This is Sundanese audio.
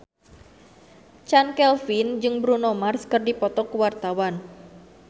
Chand Kelvin jeung Bruno Mars keur dipoto ku wartawan